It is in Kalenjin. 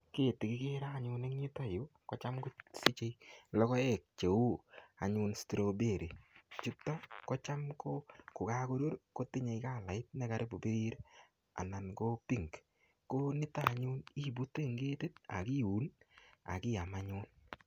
Keti kigere anyun en yuton yu kocham kosiche logoek cheu anyun strawberry chuto kocham ko kogabkorur kotinye kalait ne karibu ko birir anan ko pink ko nito anyun ibute en ketit akiun ak iam anyun.